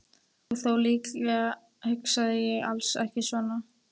Og þó, líklega hugsaði ég alls ekki svona.